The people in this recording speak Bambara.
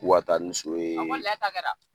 K'u ka taa ni so ye